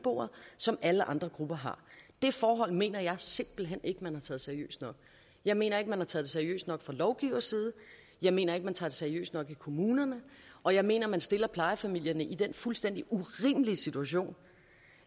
som alle andre grupper har det forhold mener jeg simpelt hen ikke at man har taget seriøst nok jeg mener ikke man har taget det seriøst nok fra lovgivers side jeg mener ikke man tager det seriøst nok i kommunerne og jeg mener at man stiller plejefamilierne i den fuldstændig urimelige situation